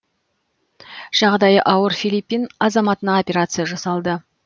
жағдайы ауыр филиппин азаматына операция жасалды